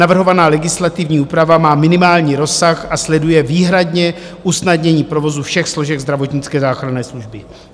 Navrhovaná legislativní úprava má minimální rozsah a sleduje výhradně usnadnění provozu všech složek zdravotnické záchranné služby.